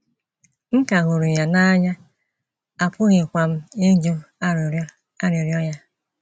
M ka hụrụ ya n’anya, apụghịkwa m ịjụ arịrịọ arịrịọ ya.